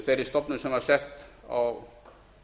þeirri stofnun sem var sett á